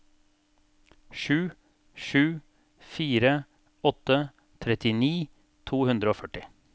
sju sju fire åtte trettini to hundre og førti